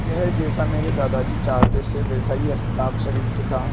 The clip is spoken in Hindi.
यह जैसा मेरे दादाजी चाहते थे वैसा ही हस्ताक्षरयुक्त था